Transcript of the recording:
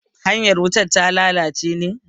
hanyar wutar ta lalace ne?